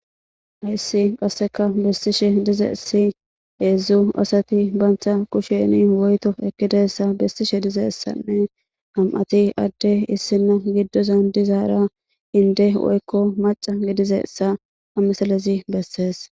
ayssi qasseka bessishe dizeessi heedzdzu asati bantha kusheni woyto ekidessa bessishe dizessanne ham7ati adde issinna giddozan dizaara inde woykko maca gidizessa hamisalezi bessees